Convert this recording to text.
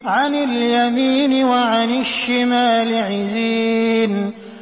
عَنِ الْيَمِينِ وَعَنِ الشِّمَالِ عِزِينَ